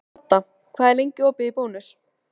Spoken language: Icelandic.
Hadda, hvað er lengi opið í Bónus?